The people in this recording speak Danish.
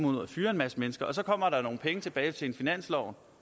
ud og fyrer en masse mennesker og så kommer der nogle penge tilbage til finansloven